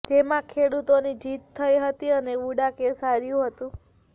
જેમાં ખેડૂતોની જીત થઈ હતી અને વુડા કેસ હાર્યું હતું